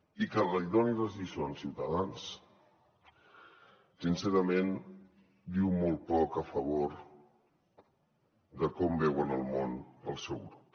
i que li donin les lliçons ciutadans sincerament diu molt poc a favor de com veuen el món el seu grup